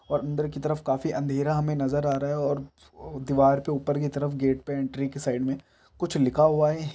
-- और अंदर की तरफ काफी अंधेरा हमे नजर अा रहा हैऔर दीवार के ऊपर की तरफ गेट पे एंट्री के साईड मे कुछ लिखा हुआ है।